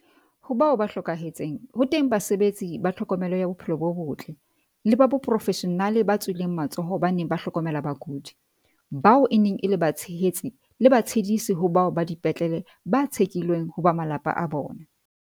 Ho bao ba hlokahetseng, ho teng basebetsi ba tlhokomelo ya bophelo bo botle, le baporofeshenale ba tswileng matsoho ba neng ba hlokomela bakudi, bao e neng e le batshehetsi le batshedisi ho bao ba dipetlele ba tshekilweng ho ba malapa a bona.